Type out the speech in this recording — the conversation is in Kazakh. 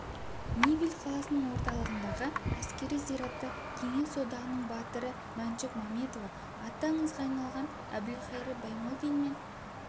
невель қаласының орталығындағы әскери зиратта кеңес одағының батыры мәншүк мәметова аты аңызға айналған әбілқайыр баймолдин мен